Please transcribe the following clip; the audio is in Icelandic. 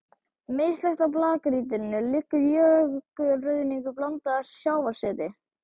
Mislægt á blágrýtinu liggur jökulruðningur blandaður sjávarseti.